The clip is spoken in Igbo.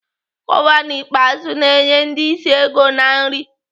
Gọvanọ Ikpeazụ na-enye ndi ịsị ego na nri.